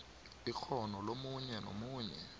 ikghono lomunye nomunye